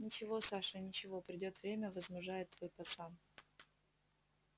ничего саша ничего придёт время возмужает твой пацан